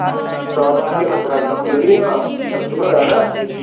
ਸਤਾਰਹ ਹਜਾਰ ਬਰਾਂਚਾਂ ਖੁੱਲਣੀਆਂ ਦਰਸ਼ਨ ਹੋ ਜਾਣਾ